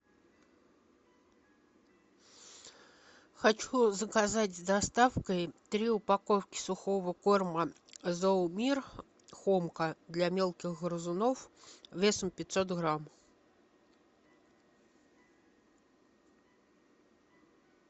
хочу заказать с доставкой три упаковки сухого корма зоомир хомка для мелких грызунов весом пятьсот грамм